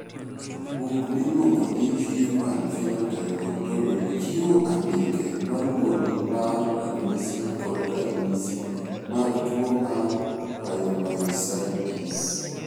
Buk miluongo ni Human Phenotype Ontology chiwo andike ma luwoni mar ranyisi kod ranyisi mag tuo mar Pyomyositis.